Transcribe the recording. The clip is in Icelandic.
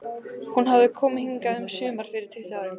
Hún hafði komið hingað um sumar fyrir tuttugu árum.